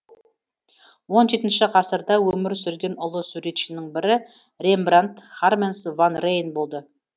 он жетінші ғасырда өмір сүрген ұлы суретшінің бірі рембрандт харменс ван рейн болды